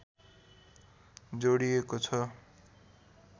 जोडिएको छ